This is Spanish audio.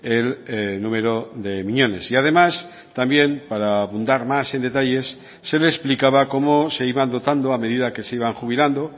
el número de miñones y además también para abundar más en detalles se le explicaba cómo se iban dotando a medida que se iban jubilando